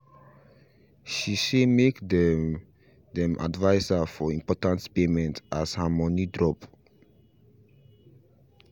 she say make them them advice her for important payment as her money drop